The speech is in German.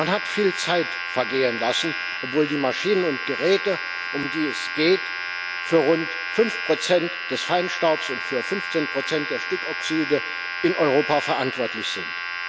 Man hat viel Zeit vergehen lassen, obwohl die Maschinen und Geräte, um die es geht, für rund fünf Prozent des Feinstaubs und für 15 Prozent der Stickoxide in Europa verantwortlich sind.